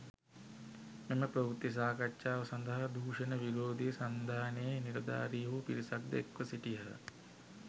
මෙම ප්‍රවෘත්ති සාකච්ඡාව සඳහා දූෂණ විරෝධී සන්ධානයේ නිලධාරීහු පිරිසක්‌ ද එක්‌ව සිටියහ.